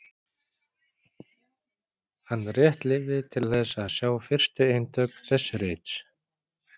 Hann rétt lifði til að sjá fyrstu eintök þess rits.